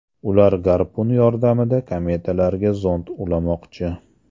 Ular garpun yordamida kometalarga zond ulamoqchi.